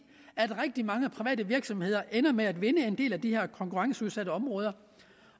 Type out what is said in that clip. rigtig mange private virksomheder ender med at vinde en del af de her konkurrenceudsatte områder